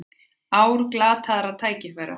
Ár glataðra tækifæra